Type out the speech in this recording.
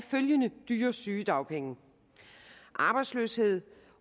følgende dyre sygedagpenge og arbejdsløshed